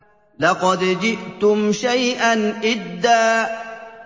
لَّقَدْ جِئْتُمْ شَيْئًا إِدًّا